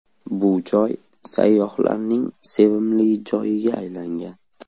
Bu joy sayyohlarning sevimli joyiga aylangan.